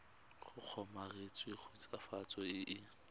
go kgomaretsa khutswafatso e e